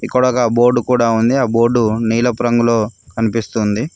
ఇక్కడొక బోర్డు కూడా ఉంది ఆ బోర్డు నీలపు రంగులో కనిపిస్తుంది.